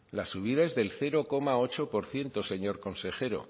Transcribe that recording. la subida es del cero coma ocho por ciento señor consejero